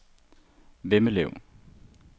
Vemmelev